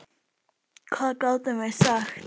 Hvað gátum við sagt?